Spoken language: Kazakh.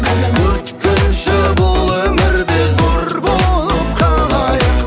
өткінші бұл өмірде зор болып қалайық